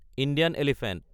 Indian elephant